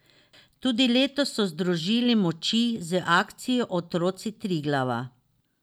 Tudi letos so združili moči z akcijo Otroci Triglava.